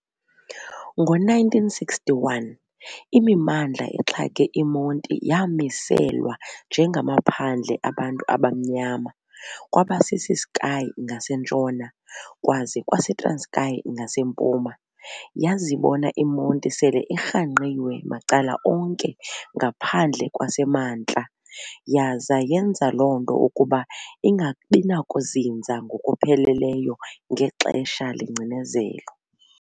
Ngo-1961, imimandla exhake iMonti yaamiselwa njengamaphandle abantu abamnyama kwabaseCiskei ngaseNtshona kwaza kwas eTranskei ngaseMpuma. Yazibona iMonti sele irhangqiwe macala onke ngaphandle kwaseMantla yaza yenza loo nto ukuba ingabinakuzinza ngokupheleleyo ngexesha lengcinezelo.